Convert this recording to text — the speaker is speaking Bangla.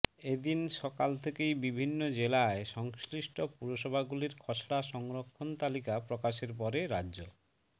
এ দিন সকাল থেকেই বিভিন্ন জেলায় সংশ্লিষ্ট পুরসভাগুলির খসড়া সংরক্ষণ তালিকা প্রকাশের পরে রাজ্য